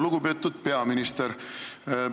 Lugupeetud peaminister!